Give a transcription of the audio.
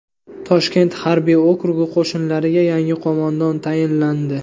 Toshkent harbiy okrugi qo‘shinlariga yangi qo‘mondon tayinlandi.